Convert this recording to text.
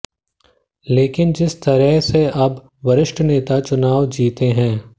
लेकिन जिस तरह से अब वरिष्ठ नेता चुनाव जीते हैं